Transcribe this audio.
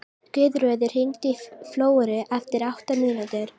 Guðröður, hringdu í Flóru eftir átta mínútur.